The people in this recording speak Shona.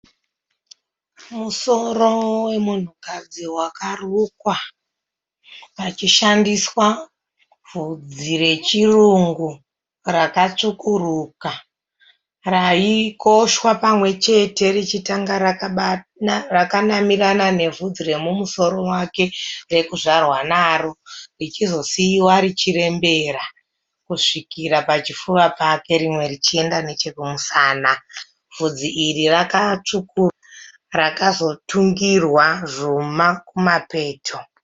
Musoro wemunhukadzi wakarukwa pachishandiswa vhudzi rechirungu rakatsvukuruka raikoshwa pamwechete richitanga rakanamirana nebvudzi remumusoro wake rekuzvarwa naro richizosiwa richirembera kusvikira pachifuva pake rimwe richienda nechekumusana. Bvudzi iri rakazotungirwa zvuma kumapeto.